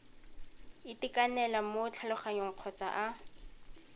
itekanela mo tlhaloganyong kgotsa a